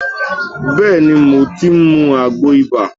Bẹ́ẹ̀ ni, mo ti ń mu àgbo ibà